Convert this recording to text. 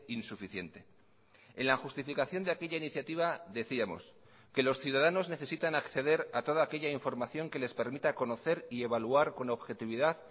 insuficiente en la justificación de aquella iniciativa decíamos que los ciudadanos necesitan acceder a toda aquella información que les permita conocer y evaluar con objetividad